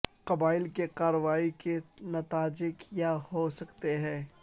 قبائل کے کارروائی کے نتائج کیا ہو سکتے ہیں